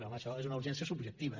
home això és una urgència subjectiva